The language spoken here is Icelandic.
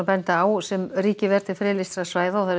sem ríkið ver til friðlýstra svæða og